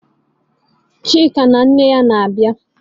Chika na nne ya na-abịa?